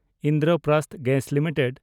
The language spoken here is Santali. Indraprastha gas limited